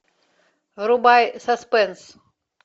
врубай саспенс